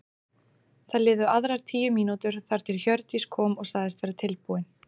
Það liðu aðrar tíu mínútur þar til Hjördís kom og sagðist vera tilbúin.